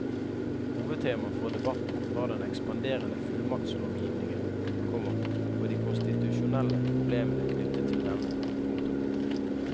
Hovedtemaet for debatten var den ekspanderende fullmaktslovgivningen, komma og de konstitusjonelle problemene knyttet til denne. punktum